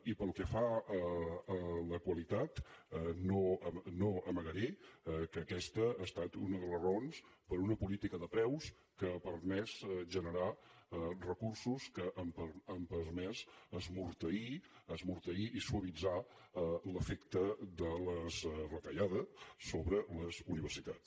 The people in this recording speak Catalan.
i pel que fa a la qualitat no amagaré que aquesta ha estat una de les raons per a una política de preus que ha permès generar recursos que han permès esmorteir esmorteir i suavitzar l’efecte de les retallades sobre les universitats